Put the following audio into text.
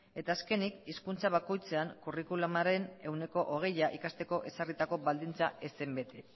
eta azkenik hizkuntza bakoitzean curriculumaren ehuneko hogeia ikasteko ezarritako baldintza ez zen bete